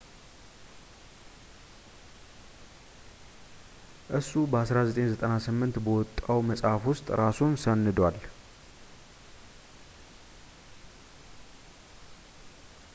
እሱ በ1998 በወጣው መፅሐፍ ውስጥ እራሱን ሰንዷል